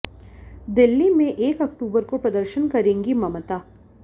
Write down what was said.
दिल्ली में एक अक्टूबर को प्रदर्शन करेंगी ममता